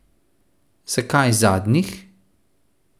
Zakaj zadnjih?